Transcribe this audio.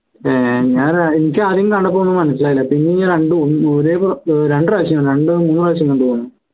ഏർ ഞാന് എനിക്ക് ആദ്യം കണ്ടപ്പോ മനസ്സിലായില്ല പിന്നെയാ രണ്ടുമൂന്നു പ്രാവശ്യം കണ്ടു